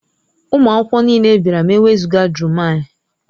Ụmụ akwụkwọ niile bịara ma e wezụga Jummai.